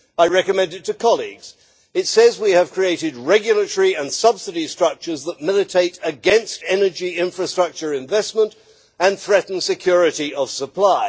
I recommend it to colleagues. It says we have created regulatory and subsidy structures that militate against energy infrastructure investment and threaten security of supply.